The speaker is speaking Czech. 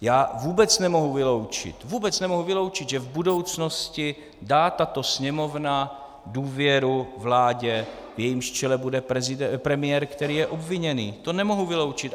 Já vůbec nemohu vyloučit, vůbec nemohu vyloučit, že v budoucnosti dá tato Sněmovna důvěru vládě, v jejímž čele bude premiér, který je obviněný, to nemohu vyloučit.